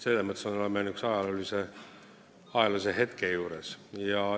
Selles mõttes on see ajalooline hetk.